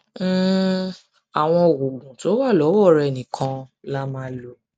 um àwọn oògùn tó wà lọwọ rẹ nìkan la máa lò